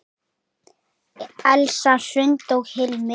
Elsa Hrund og Hilmir.